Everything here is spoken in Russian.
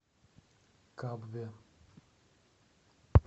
кабве